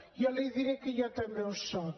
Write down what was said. jo li diré que jo també ho soc